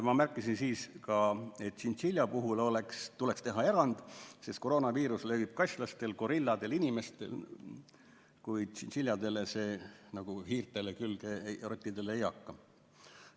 Ma märkisin ka seda, et tšintšilja puhul tuleks teha erand, sest koroonaviirus levib kaslastele, gorilladele ja inimestele, kuid tšintšiljadele nagu ka hiirtele ja rottidele see külge ei hakka.